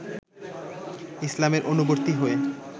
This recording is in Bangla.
ইসলামের অনুবর্তী হয়ে